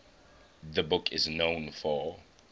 the book is known for